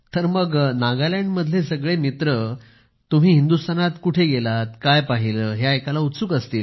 तर मग नागालँड मधले सगळे मित्र तुम्ही हिंदुस्थानात कुठे गेलात काय पाहिलं हे ऐकायला उत्सुक असतील